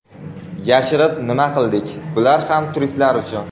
Yashirib nima qildik bular ham turistlar uchun.